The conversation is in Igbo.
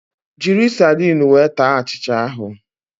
Jiri sardinu wee taa achịcha ahụ